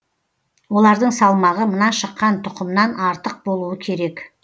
олардың салмағы мына шыққан тұқымнан артық болуы керек